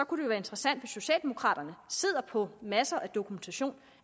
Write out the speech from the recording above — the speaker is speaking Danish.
kunne være interessant hvis socialdemokraterne sidder på masser af dokumentation